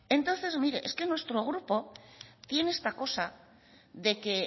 entonces mire es que nuestro grupo tiene esta cosa de que